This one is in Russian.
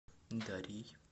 дарьей